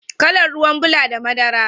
Kalan ruwan bula da madara.